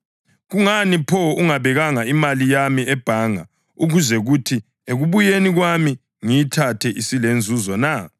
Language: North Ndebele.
Kungani pho ungabekanga imali yami ebhanga ukuze kuthi ekubuyeni kwami ngiyithathe isilenzuzo na?’